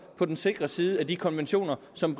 på den sikre side af de konventioner som